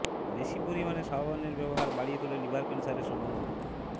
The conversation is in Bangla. বেশি পরিমাণে সাবানের ব্যবহার বাড়িয়ে তোলে লিভার ক্যান্সারের সম্ভাবনা